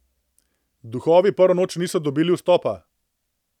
Duhovi prvo noč niso dobili vstopa.